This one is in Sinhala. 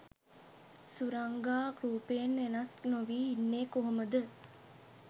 සුරංගා රූපයෙන් වෙනස් නොවී ඉන්නේ කොහොමද?